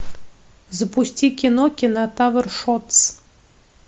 запусти кино кинотавр шортс